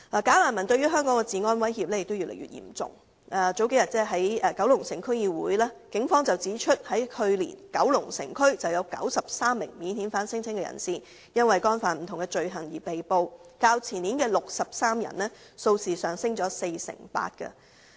"假難民"對香港治安的威脅越來越嚴重，警方數天前在九龍城區議會會議上指出，九龍城區去年有93名免遣返聲請人士因干犯不同罪行被捕，較前年的63人，數字上升了四成八。